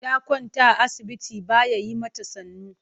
Ta kwanta a asibiti ba ya yi mata sannu.